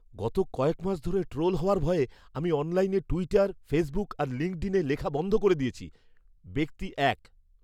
গত কয়েক মাস ধরে ট্রোল হওয়ার ভয়ে আমি অনলাইনে টুইটার, ফেসবুক আর লিঙ্কডিনে লেখা বন্ধ করে দিয়েছি। ব্যক্তি এক